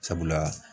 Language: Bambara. Sabula